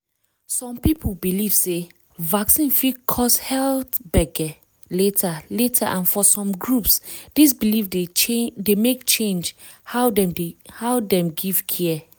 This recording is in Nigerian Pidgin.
some people believe sey vaccine fit cause health gbege later later and for some groups this belief dey make change how dem give care.